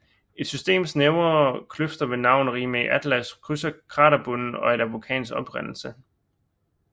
Et system snævre kløfter ved navn Rimae Atlas krydser kraterbunden og er af vulkansk oprindelse